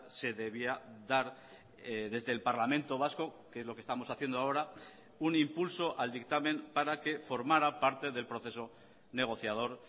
se debía dar desde el parlamento vasco que es lo que estamos haciendo ahora un impulso al dictamen para que formara parte del proceso negociador